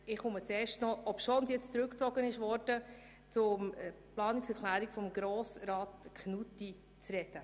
Obschon sie mittlerweile zurückgezogen worden ist, komme ich nun auf die Planungserklärung von Grossrat Knutti zu sprechen.